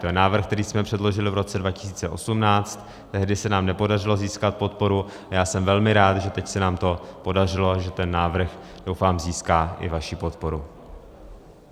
To je návrh, který jsme předložili v roce 2018, tehdy se nám nepodařilo získat podporu a já jsem velmi rád, že teď se nám to podařilo, že ten návrh, doufám, získá i vaši podporu.